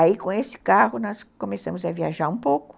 Aí, com esse carro, nós começamos a viajar um pouco.